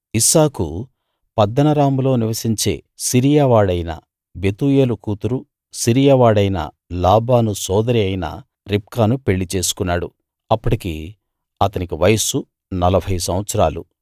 ఇస్సాకు పద్దనరాములో నివసించే సిరియా వాడైన బెతూయేలు కూతురూ సిరియావాడైన లాబాను సోదరీ అయిన రిబ్కాను పెళ్ళి చేసుకున్నాడు అప్పటికి అతని వయస్సు నలభై సంవత్సరాలు